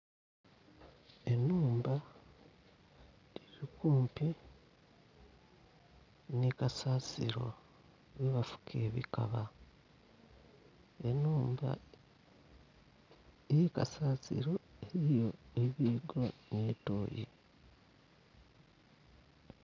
Enhumba eri kumpi nhi kasasiro ghe bafuka ebikaba, enhumba erikasasiro eriyo enhumba nho tooyi.